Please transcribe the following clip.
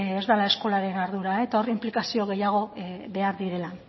ez dela eskolaren ardura eta hor inplikazio gehiago behar direla